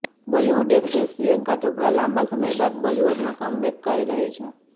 Bollywood actress Priyanka Chopra લાંબા સમય બાદ બોલીવુડમાં કમબેક કરી રહી છે